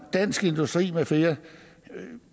dansk industri med flere